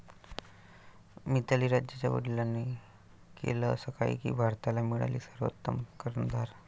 मिताली राजच्या वडिलांनी केलं असं काही की भारताला मिळाली सर्वोत्तम कर्णधार